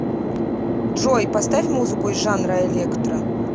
джой поставь музыку из жанра электро